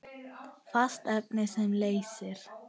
Fast efni sem leysir